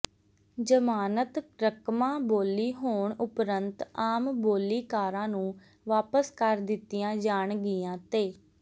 ਜ਼ਮਾਨਤ ਰਕਮਾਂ ਬੋਲੀ ਹੋਣ ਉਪਰੰਤ ਆਮ ਬੋਲੀਕਾਰਾਂ ਨੂੰ ਵਾਪਸ ਕਰ ਦਿੱਤੀਆਂ ਜਾਣਗੀਆਂ ਤੇ